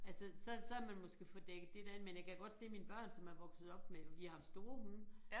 Altså så så havde man måsket fået dækket det der ind man jeg kan godt se mine børn som er vokset op med vi har haft store hunde